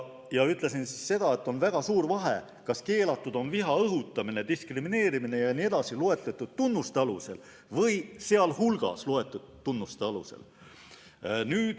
Ma ütlesin seda, et on väga suur vahe, kas keelatud on viha õhutamine, diskrimineerimine jne loetletud tunnuste alusel või sealhulgas loetletud tunnuste alusel.